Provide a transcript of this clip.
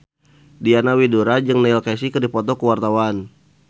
Diana Widoera jeung Neil Casey keur dipoto ku wartawan